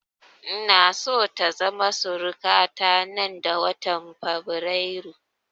Ina so ta zama suruka ta nan da watan fabrairu